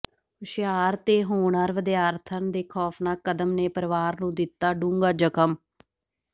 ਹੁਸ਼ਿਆਰ ਤੇ ਹੋਣਹਾਰ ਵਿਦਿਆਰਥਣ ਦੇ ਖੌਫਨਾਕ ਕਦਮ ਨੇ ਪਰਿਵਾਰ ਨੂੰ ਦਿੱਤਾ ਡੂੰਘਾ ਜ਼ਖਮ